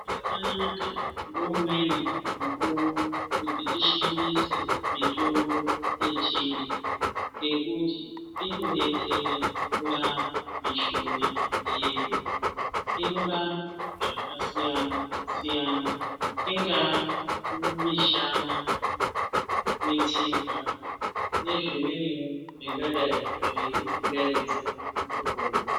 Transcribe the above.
Zvakanaka ngeumweni mukuwo kuti tishandise mitombo yechintu ngekuti inodetsera kurapa mishuna yedu , inorapa zvakasiyanasiyana ingaa mishana, mitsipa nezvimweniwo zvingadai zveitipingaidza mukupona.